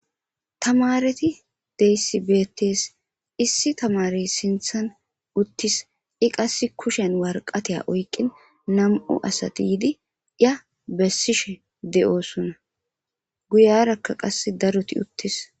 Tamareti deyssibeettes issi tamare sinthan uttis i qass kushen warqateya oyqin nam7u asati yidi iya bessishe de7oosunna guyarakka qasse daruti uttis